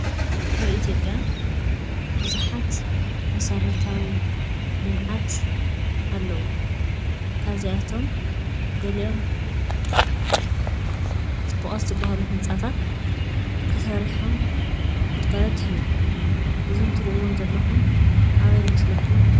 ኣብ ኢትዮጵያ ቡዙሓት መሰረታዊ ልምዓት ኣለዉ፡፡ ካብ እዚኦም እቶም ገሊኦም ፅቡቛት ዝባሃሉ ህንፃታት ተሰርሖም ግልጋሎት ይህቡ እዞም እትሪእዎም ዘለኩም ኣበይ ይመስለኩም?